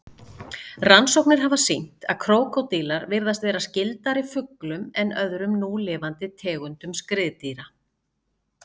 Rannsóknir hafa sýnt að krókódílar virðast vera skyldari fuglum en öðrum núlifandi tegundum skriðdýra.